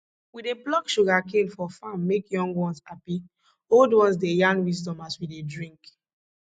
we dey pluck sugarcane for farm make young ones happy old ones dey yarn wisdom as we dey drink